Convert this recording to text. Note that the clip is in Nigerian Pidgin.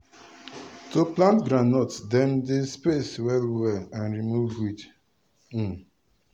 to plant groundnut dem dey space well well and remove weed. um